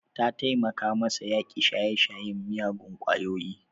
Ta taimaka masa ya yaƙi shaye-shayen miyagun kwayoyi.